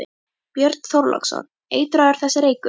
Björn Þorláksson: Eitraður þessi reykur?